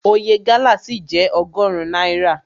Oye gálà ṣì jẹ́ ọgọrun náírà.